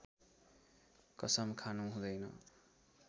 कसम खानु हुँदैन